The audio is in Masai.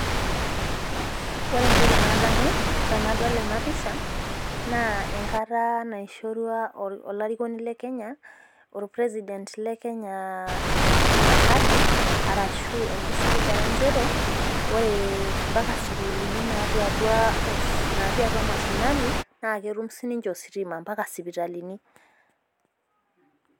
Ore entoki nadamu tenadol ena pisha naa enkata naishorua olarikoni le Kenya.ol president le kenya ahadi ashu enkisiligata nchere, ore mpaka sukuulini natii atua mashinani. naa ketum sii ninche ositima,